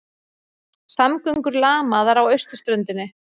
Samgöngur lamaðar á austurströndinni